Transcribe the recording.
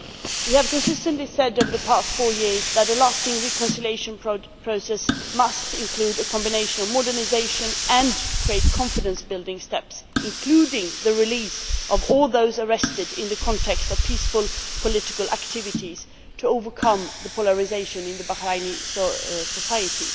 We have consistently said, over the past four years, that a lasting reconciliation process must include a combination of modernisation and confidence building steps including the release of all those arrested in the context of peaceful political activities in order to overcome the polarisation in Bahraini society.